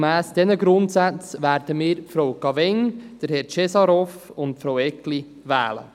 Gemäss diesen Grundsätzen werden wir Frau Cavegn, Herrn Cesarov und Frau Eggli wählen.